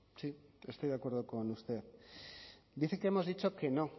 sí estoy de acuerdo con usted dice que hemos dicho que no